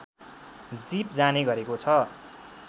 jeep जाने गरेको छ